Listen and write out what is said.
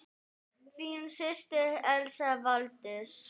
Þín systir, Elsa Valdís.